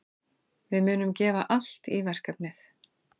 Við munum gefa allt í verkefnið.